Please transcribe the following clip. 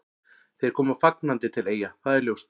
Þeir koma fagnandi til Eyja, það er ljóst.